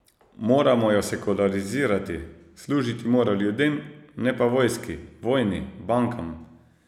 Moramo jo sekularizirati, služiti mora ljudem, ne pa vojski, vojni, bankam ...